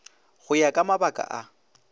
go ya ka mabaka a